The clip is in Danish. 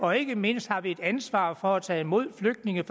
har ikke mindst et ansvar for at tage imod flygtninge